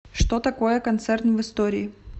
что такое концерн в истории